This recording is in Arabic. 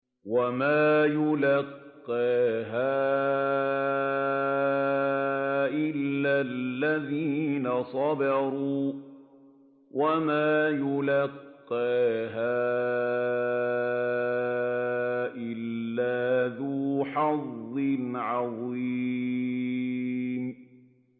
وَمَا يُلَقَّاهَا إِلَّا الَّذِينَ صَبَرُوا وَمَا يُلَقَّاهَا إِلَّا ذُو حَظٍّ عَظِيمٍ